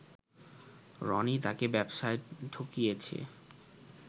রনি তাকে ব্যবসায় ঠকিয়েছে